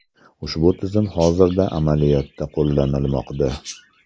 Ushbu tizim hozirda amaliyotda qo‘llanilmoqda.